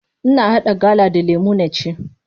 Ina haɗa gala da lemu na ci.